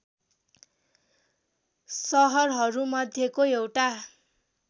सहरहरूमध्येको एउटा